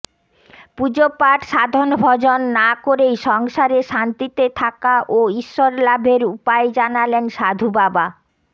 পুজোপাঠ সাধনভজন না করেই সংসারে শান্তিতে থাকা ও ঈশ্বর লাভের উপায় জানালেন সাধুবাবা